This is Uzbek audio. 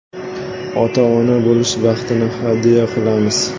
Ota-ona bo‘lish baxtini hadya qilamiz!.